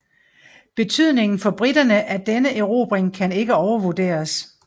Betydningen for briterne af denne erobring kan ikke overvurderes